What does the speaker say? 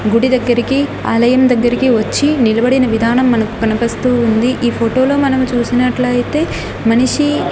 గుడి దగ్గరికి ఆలయం దగ్గరికి వచ్చి నిలబడిన విధానం మనకు కనపస్తూ ఉంది ఈ ఫోటోలో మనం చూసినట్లయితే మనిషి--